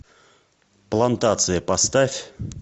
плантация поставь